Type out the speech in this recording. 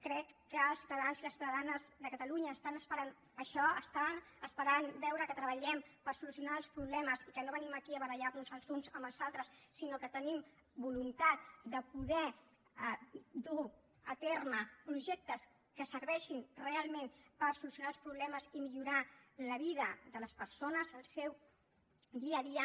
crec que els ciutadans i les ciutadanes de catalunya estan esperant això estan esperant veure que treballem per solucionar els problemes i que no venim aquí a barallar nos els uns amb els altres sinó que tenim voluntat de poder dur a terme projectes que serveixin realment per solucionar els problemes i millorar la vida de les persones el seu dia a dia